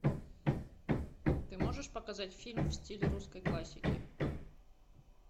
ты можешь показать фильм в стиле русской классики